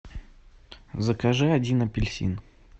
закажи один апельсин